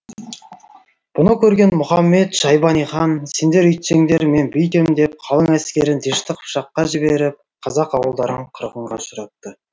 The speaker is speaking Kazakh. бұны көрген мұхамед шайбани хан сендер үйтсеңдер мен бүйтем деп қалың әскерін дешті қыпшаққа жіберіп қазақ ауылдарын қырғынға ұшыратты